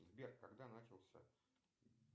сбер когда начался